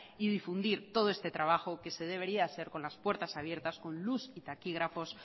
y difundir todo este trabajo que se debería de hacer con las puertas abiertas con luz y taquígrafos